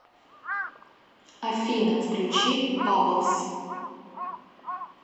афина включи баблс